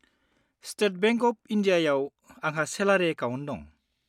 State bank of इन्डियायाव आंहा salary account दं।